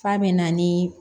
F'a bɛ na ni